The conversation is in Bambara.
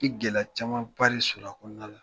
Ki gɛlɛya camanbari sɔrɔ a kɔnɔna la